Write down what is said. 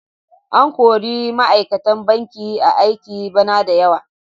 An kori ma'aikatan banki a aiki bana da yawa.